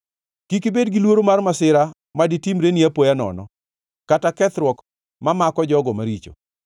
Kik ibed giluoro mar masira ma ditimreni apoya nono kata kethruok mamako jogo maricho,